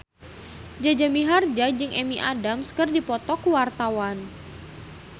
Jaja Mihardja jeung Amy Adams keur dipoto ku wartawan